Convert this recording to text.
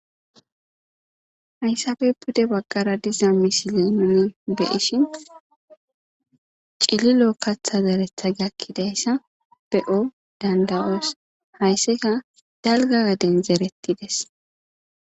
hayssape bude bagqara diza misiliini nuuni be'ishin cililo katha zeretha gakkidayssa be'o danda'oos haysseka dalga gaden zerettides